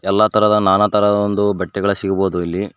ಎಲ್ಲಾ ತರಹದ ನಾನಾ ತರಹದ ಒಂದು ಬಟ್ಟೆಗಳ ಸಿಗ್ಬಹುದು ಇಲ್ಲಿ.